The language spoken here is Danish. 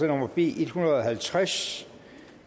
nummer b en hundrede og halvtreds